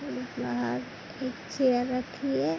एक बाहर एक चेयर रखी है।